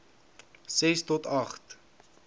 ses to agt